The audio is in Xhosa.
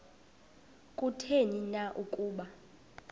kutheni na ukuba